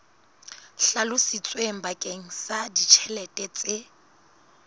hlalositsweng bakeng sa ditjhelete tse